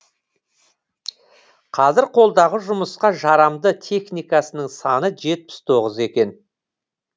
қазір қолдағы жұмысқа жарамды техникасының саны жетпіс тоғыз екен